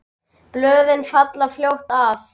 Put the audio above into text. Blöðin falla fljótt af.